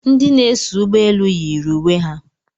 Ndị na-eso ụgbọelu yiri uwe ha